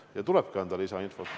Ja tulebki anda lisainfot.